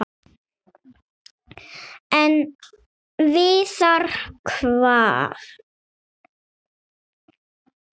En við hvað?